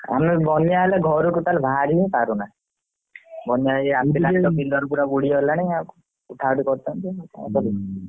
ବନ୍ୟା ହେଲେ ଘରୁ totally ବାହାରି ହି ପାରୁନା ବନ୍ୟା ଏହି ଆସିଲାଣି ବିଲ totally ବୁଡ଼ି ଗଲାଣି ଆଉ ଉଠା ଉଠି କରୁଛନ୍ତି ଆଉ।